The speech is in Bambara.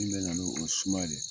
Min bɛ na n'o ye, o ye suma de.